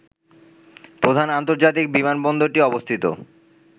প্রধান আন্তর্জাতিক বিমানবন্দরটি অবস্থিত